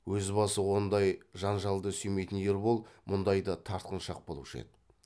өз басы ондай жан жалды сүймейтін ербол мұндайда тартыншақ болушы еді